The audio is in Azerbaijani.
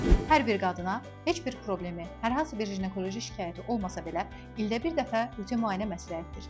Hər bir qadına heç bir problemi, hər hansı bir ginekoloji şikayəti olmasa belə ildə bir dəfə rutin müayinə məsləhətdir.